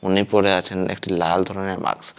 উনি পরে আছেন একটি লাল ধরনের মাক্স ।